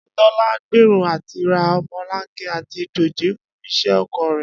Adétó̩lá ń gbèrò àti ra o̩mo̩lanke àti dòjé fún is̩é̩ oko rè̩